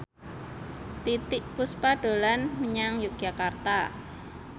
Titiek Puspa dolan menyang Yogyakarta